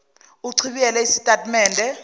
uchibiyele isitati mende